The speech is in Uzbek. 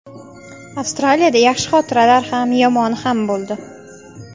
Avstraliyada yaxshi xotiralar ham, yomoni ham bo‘ldi.